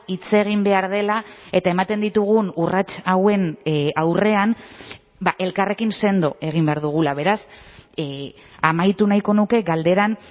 hitz egin behar dela eta ematen ditugun urrats hauen aurrean elkarrekin sendo egin behar dugula beraz amaitu nahiko nuke galderan